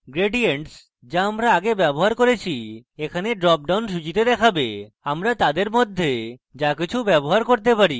gradients the আমরা আগে ব্যবহার করেছি এখানে drop down সূচীতে দেখাবে আমরা তাদের মধ্যে the কিছু ব্যবহার করতে পারি